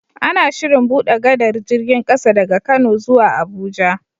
Ana Shirin buɗe gadar jirgin ƙasa daga kano zuwa abuja